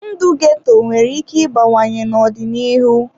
Ndụ ghetto nwere ike ịbawanye n'ọdịnihu.